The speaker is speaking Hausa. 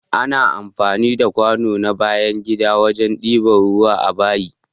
Ana amfani da kwano na bayan gida wajen ɗiba ruwa a bayi.